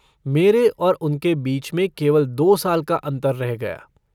मेरे और उनके बीच में केवल दो साल का अन्तर रह गया।